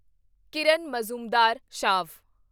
Kiran Mazumdar Shaw